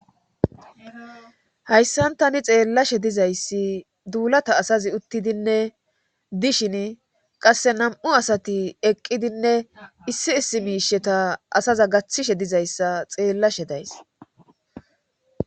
Hayssantani xeellashe dizayssi duulata asazi uttidinne dishin qasse nam'u asati eqqidinne issi issi miisheta asaza gaththishe dizayssa xeellashe days.